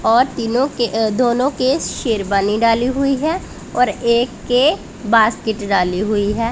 और तीनों के अ दोनों के शेरबानी डाली हुई है और एक के बास्केट डाली हुई है।